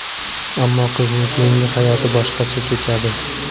Ammo qizning keyingi hayoti boshqacha kechadi.